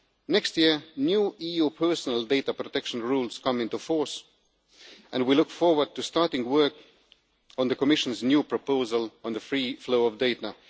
Next year, new EU personal data protection rules come into force, and we look forward to starting work on the Commission's new proposal on the free flow of data.